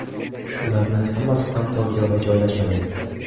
Ularning hammasi ham Tokioda joylashmagan.